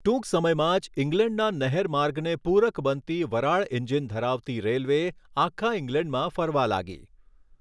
ટૂંક સમયમાં જ ઈંગ્લેન્ડના નહેરમાર્ગને પૂરક બનતી વરાળ એન્જિન ધરાવતી રેલ્વે આખા ઈંગ્લેન્ડમાં ફરવા લાગી.